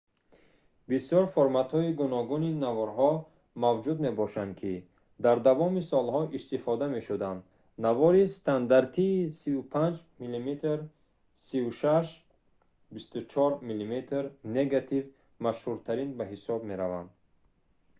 бисёр форматҳои гуногуни наворҳо мавҷуд мебошанд ки дар давоми солҳо истифода мешуданд. навори стандартии 35мм 36 x 24мм негатив машҳуртарин ба ҳисоб меравад